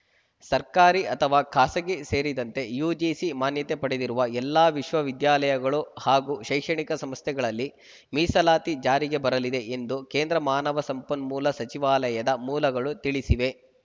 ಸರ್ಕಾರಿ ಅಥವಾ ಖಾಸಗಿ ಸೇರಿದಂತೆ ಯುಜಿಸಿ ಮಾನ್ಯತೆ ಪಡೆದಿರುವ ಎಲ್ಲ ವಿಶ್ವವಿದ್ಯಾಲಯಗಳು ಹಾಗೂ ಶೈಕ್ಷಣಿಕ ಸಂಸ್ಥೆಗಳಲ್ಲಿ ಮೀಸಲಾತಿ ಜಾರಿಗೆ ಬರಲಿದೆ ಎಂದು ಕೇಂದ್ರ ಮಾನವ ಸಂಪನ್ಮೂಲ ಸಚಿವಾಲಯದ ಮೂಲಗಳು ತಿಳಿಸಿವೆ